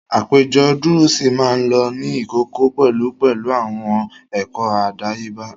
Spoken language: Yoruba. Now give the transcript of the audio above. Àpéjọ dúrúsì máa ń lọ ní ìkọ̀kọ̀ pẹ̀lú pẹ̀lú àwọn ẹ̀kọ́ àdáyébá